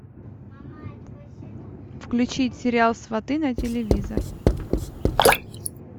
включить сериал сваты на телевизор